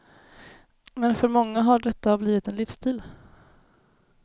Men för många har detta blivit en livsstil.